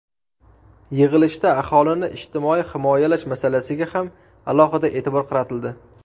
Yig‘ilishda aholini ijtimoiy himoyalash masalasiga ham alohida e’tibor qaratildi.